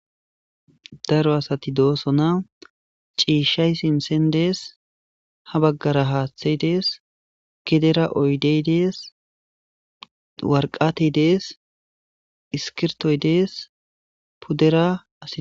Daro asati do'sona cishay sinthe dees habagara hathay dees gedera oyidey dees wariqatey dees iskiritoy dees pudera asi